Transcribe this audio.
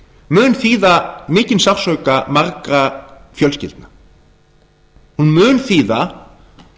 mun þýða mikinn sársauka margra fjölskyldna hún mun þýða